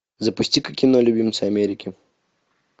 запусти ка кино любимцы америки